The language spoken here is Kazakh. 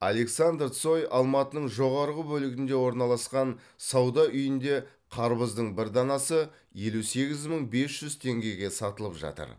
александр цой алматының жоғарғы бөлігінде орналасқан сауда үйінде қарбыздың бір данасы елу сегіз мың бес жүз теңгеге сатылып жатыр